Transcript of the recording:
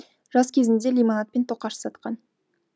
жас кезінде лимонад пен тоқаш сатқан